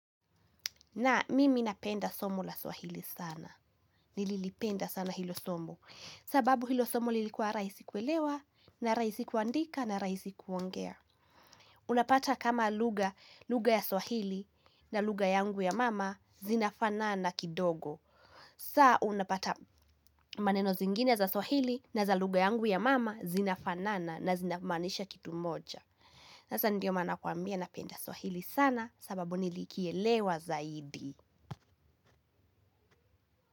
Na mimi napenda somo la swahili sana. Nililipenda sana hilo somo. Sababu hilo somo lilikuwa rahisi kuelewa na rahisi kuandika na rahisi kuongea. Unapata kama lugha, lugha ya swahili na lugha yangu ya mama zinafanana kidogo. Saa unapata maneno zingine za swahili na za lugha yangu ya mama zinafanana na zinamaanisha kitu moja. Hasa ndio maana nakuambia napenda swahili sana sababu nilikielewa zaidi.